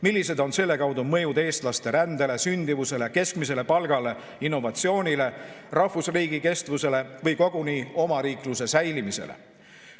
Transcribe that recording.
Millised on selle kaudu mõjud eestlaste rändele, sündimusele, keskmisele palgale, innovatsioonile, rahvusriigi kestvusele või koguni omariikluse säilimisele?